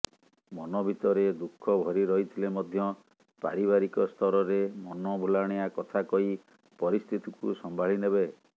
ମନ ଭିତରେ ଦୁଃଖ ଭରି ରହିଥିଲେ ମଧ୍ୟ ପାରିବାରିକ ସ୍ତରରେ ମନଭୁଲାଣିଆ କଥା କହି ପରିସ୍ଥିତିକୁ ସମ୍ଭାଳିନେବେ